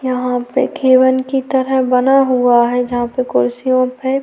यहाँ पे केबल की तरह बना हुआ है जहां पे कुर्सियों पे--